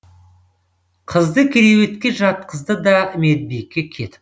қызды керуетке жатқызды да медбике кетіп